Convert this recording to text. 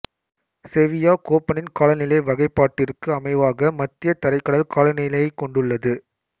Sevilla கோப்பனின் காலநிலை வகைப்பாட்டிற்கு அமைவாக மத்திய தரைக்கடல் காலநிலையைக் கொண்டுள்ளது